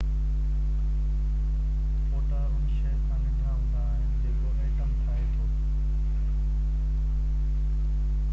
photon ان شئي کان ننڍا هوندا آهن جيڪو ايٽم ٺاهي ٿو